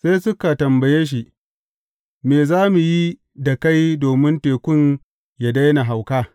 Sai suka tambaye shi, Me za mu yi da kai domin tekun yă daina hauka?